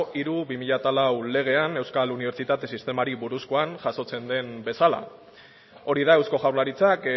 hiru barra bi mila lau legean euskal unibertsitate sistemari buruzkoan jasotzen den bezala hori da eusko jaurlaritzak